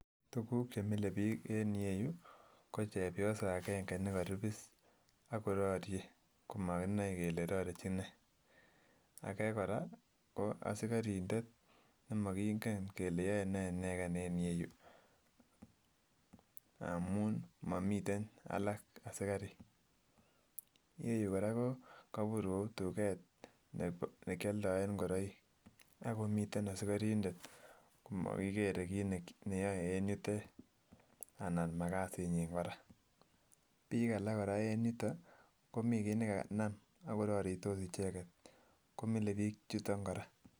Tukuk chemile biik en ireyu ko chepyosa akenge nekoribis akororie komakinai kele rorechin nee, akee kora ko asikorindet nemokingen kele yoenee ineken en ireyu amun mamiten alak asikarik, ireyu korak kokabur Kou tuket nekioldoen ingoroik akomiten asikorindet komokikere kiit neyoe en yutet anan makasinyin korak, biik korak en yuton komii kiit nekanam akororitos icheket komilebik chuton kora.